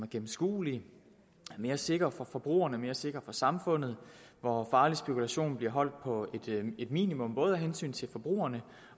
gennemskuelig mere sikker for forbrugerne mere sikker for samfundet og hvor farlig spekulation bliver holdt på et minimum både af hensyn til forbrugerne